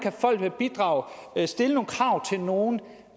folk kan bidrage og at stille krav til nogen